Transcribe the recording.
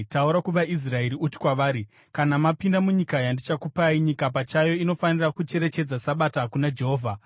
“Taura kuvaIsraeri uti kwavari: ‘Kana mapinda munyika yandichakupai, nyika pachayo inofanira kucherechedza sabata kuna Jehovha.